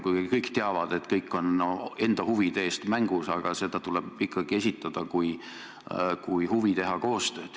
Kuigi kõik teavad, et igaüks on enda huvide eest väljas, tuleb seda ikkagi esitada kui huvi teha koostööd.